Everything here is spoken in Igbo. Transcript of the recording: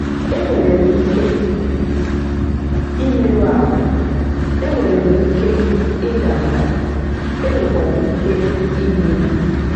E nwere m ike imerụ ahụ, e nwere m ike ịda mba, e nwekwara ike igbu m.